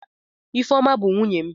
Ifeoma bu nwunye m.